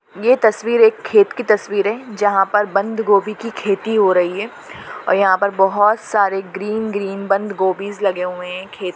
ये तसवीर एक खेत की तस्वीर है जहा पर बंद गोबी की खेती हो रही है और यहाँ पर बहुत सारे ग्रीन ग्रीन बंद गोबी लगे हुए है। खेत--